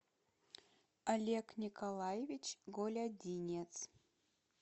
олег николаевич голядинец